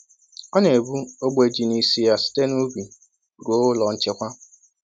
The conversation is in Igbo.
Ọ na ebu ogbe ji n'isi ya site n'ubi ruo ụlọ nchekwa.